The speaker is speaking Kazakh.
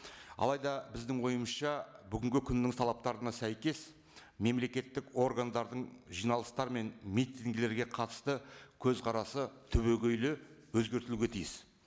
алайда біздің ойымызша бүгінгі күннің талаптарына сәйкес мемлекеттік органдардың жиналыстары мен митингілерге қатысты көзқарасы түбегейлі өзгертілуге тиіс